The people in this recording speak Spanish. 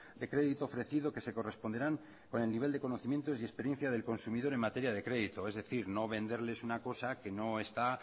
de crédito ofrecido que se corresponderán con el nivel de conocimientos y experiencia del consumidor en materia de crédito es decir no venderles una cosa que no está